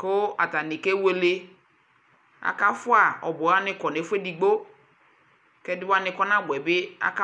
kʋ atani kɛwɛlɛ aka fua ɔbuɛ wani kɔnʋ ɛfʋ ɛdigbo kʋ ɛdiwani kɔ na buɛ bi aka